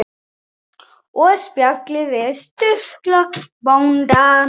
Og spjalli við Sturlu bónda.